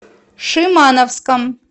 шимановском